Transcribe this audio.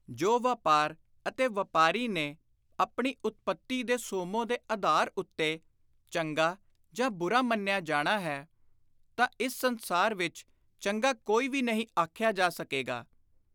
ਜੋ ਵਾਪਾਰ ਅਤੇ ਵਾਪਾਰੀ ਨੇ ਆਪਣੀ ਉਤਪਤੀ ਦੇ ਸੋਮੋਂ ਦੇ ਆਧਾਰ ਉੱਤੇ ਚੰਗਾ ਜਾਂ ਬੁਰਾ ਮੰਨਿਆ ਜਾਣਾ ਹੈ ਤਾਂ ਇਸ ਸੰਸਾਰ ਵਿਚ ਚੰਗਾ ਕੋਈ ਵੀ ਨਹੀਂ ਆਖਿਆ ਜਾ ਸਕੇਗਾ।